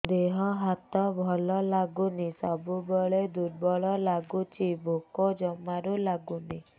ଦେହ ହାତ ଭଲ ଲାଗୁନି ସବୁବେଳେ ଦୁର୍ବଳ ଲାଗୁଛି ଭୋକ ଜମାରୁ ଲାଗୁନି